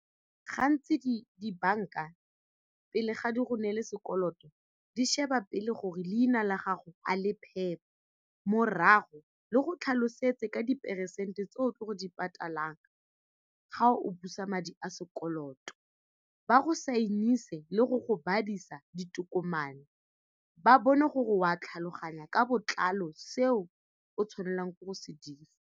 Gantsi di-bank-a pele ga di go neele sekoloto di sheba pele gore leina la gago a le phepa, morago le go tlhalosetse ka diperesente tse o tlo go di patalang ga o busa madi a sekoloto, ba go sign-ise le go go badirisa ditokomane, ba bone gore wa tlhaloganya ka botlalo seo o tshwanelang ke go se dira.